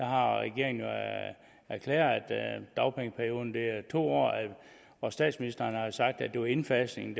har regeringen jo erklæret at dagpengeperioden er to år og statsministeren har sagt at det var indfasningen